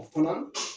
O fana